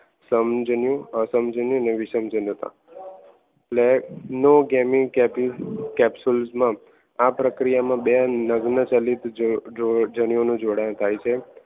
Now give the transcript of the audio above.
સમજણ્ય અસંમેચા અને વિષમતા Capsule માં આ પ્રક્રિયામાં બે નગ્ન ચલિત જન્યો નું જોડાણ થાય છે.